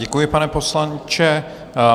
Děkuji, pane poslanče.